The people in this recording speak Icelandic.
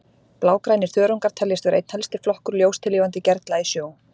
Blágrænir þörungar teljast vera einn helsti flokkur ljóstillífandi gerla í sjó.